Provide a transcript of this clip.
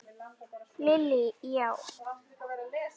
Lillý: Já?